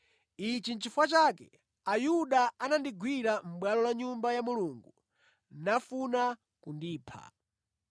Ichi nʼchifukwa chake Ayuda anandigwira mʼbwalo la Nyumba ya Mulungu nafuna kundipha.